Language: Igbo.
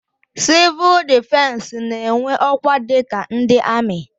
Sivuul difensi n'enwe ọkwa dika ndị amị.